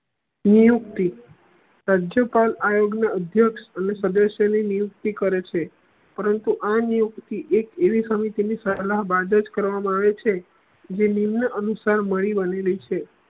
નિયુક્તિ રાજ્ય પાલ આયોગ નું અધ્યક્ષ અને સદસ્ય ની નિયુક્તિ કરે છે પરંતુ આ નિયુક્તિ એક એવી સમય કરવામા આવે છે જે અનુસાર મળી વલી ની છે